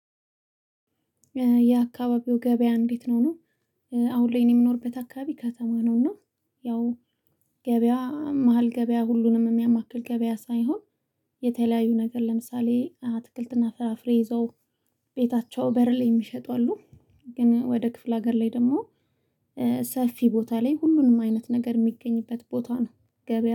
የአካባቢው ገበያ እንዴትነው? ነው አሁን ላይ እኔ የምኖርበት አካባቢ ከተማ ነው። እና ያው ገበያ መሃል ገበያ ሁሉንም የሚያማክል ገበያ ሳይሆን የተለያዩ ነገር ለምሳሌ አትክልትና ፍራፍሬ ይዘው ቤታቸው በር ላይ የሚሸጡ አሉ። ግን ወደ ክፍለ ሀገር ላይ ደግሞ ሰፊ ቦታ ላይ ሁሉንም አይነት ነገር የሚገኝበት ቦታ ነው ገበያ